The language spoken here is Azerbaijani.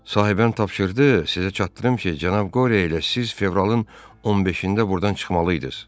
Sahibəm tapşırdı, sizə çatdırım ki, cənab Qore ilə siz fevralın 15-də burdan çıxmalıydınız.